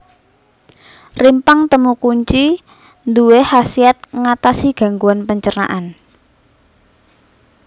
Rimpang temu kunci duwé khasiat ngatasi gangguan pencernaan